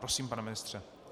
Prosím, pane ministře.